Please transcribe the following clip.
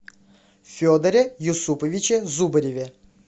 федоре юсуповиче зубареве